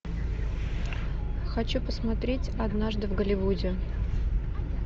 хочу посмотреть однажды в голливуде